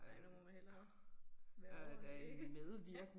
Ej nu må man hellere være ordentlig